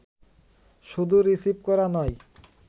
শুধু রিসিভ করা নয়